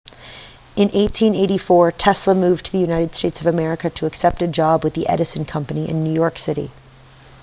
in 1884 tesla moved to the united states of america to accept a job with the edison company in new york city